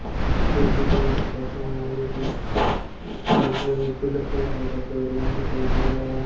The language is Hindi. ये जिलिस फोटो मेरे जिस कूलर पंखों का शोरूम दिखाई दे रहा है।